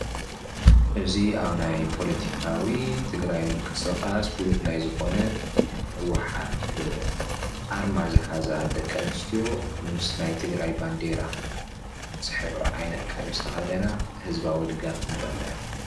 እዚ ኣብ ናይ ፖለቲካዊ ትግራይ ምቅስቃስ ፍሉጥ ናይ ዝኾነ ናይ ህወሓት ኣርማ ዝሓዛ ደቂ ኣንስትዮ ምስ ናይ ትግራይ ባንደራ ዝሕብሩ ዓይነት ቀሚስ ዝተኽደና ህዝባዊ ድጋፍ ንርኢ ኣለና።